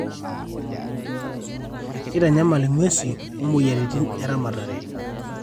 keitanyamal ing'wesi oo moyiaritin eramatare